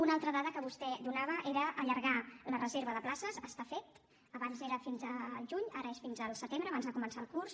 una altra dada que vostè donava era allargar la reserva de places està fet abans era fins al juny ara és fins al setembre abans de començar el curs